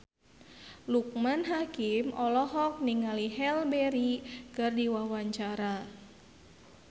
Loekman Hakim olohok ningali Halle Berry keur diwawancara